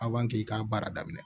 i k'a baara daminɛ